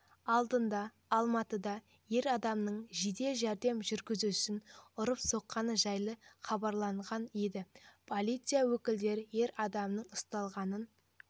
алдындаалматыда ер адамның жедел жәрдем жүргізушісін ұрып-соққаны жайлы хабарланған еді полиция өкілдері ер адамның ұсталғанын